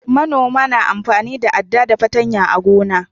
manoma na amfani da adda da patanya a gona